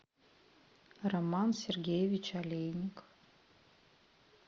роман сергеевич олейник